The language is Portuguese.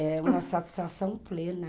É uma satisfação plena.